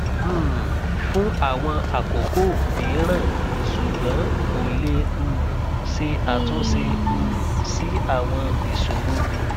um fun awon akoko miran sugbon ko le um se atunse um si awon isoromi